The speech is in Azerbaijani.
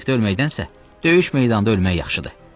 Sdə ölməkdənsə döyüş meydanında ölmək yaxşıdır.